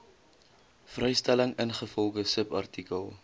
vrystelling ingevolge subartikel